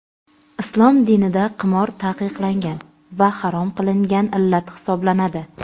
Islom dinida qimor taqiqlangan va harom qilingan illat hisoblanadi.